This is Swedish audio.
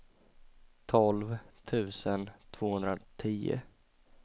tolv tusen tvåhundratio